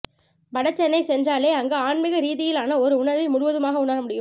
வட சென்னை சென்றாலே அங்கு ஆன்மீக ரீதியிலான ஒரு உணர்வை முழுவதுமாக உணர முடியும்